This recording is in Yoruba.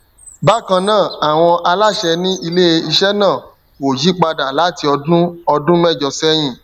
bakan naa awọn alaṣẹ ni ileiṣẹ naa ko yipada lati ọdun ọdun mẹjọ sẹyin